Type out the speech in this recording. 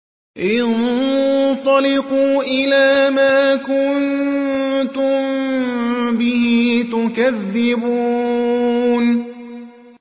انطَلِقُوا إِلَىٰ مَا كُنتُم بِهِ تُكَذِّبُونَ